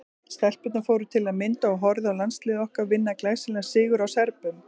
Stelpurnar fóru til að mynda og horfðu á landsliðið okkar vinna glæsilegan sigur á Serbum.